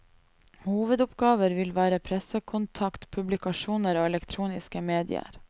Hovedoppgaver vil være pressekontakt, publikasjoner og elektroniske medier.